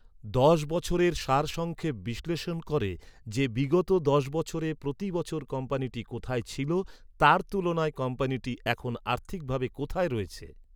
দশ বছরের সারসংক্ষেপ বিশ্লেষণ করে যে, বিগত দশ বছরে প্রতি বছর কোম্পানিটি কোথায় ছিল তার তুলনায় কোম্পানিটি এখন আর্থিকভাবে কোথায় রয়েছে।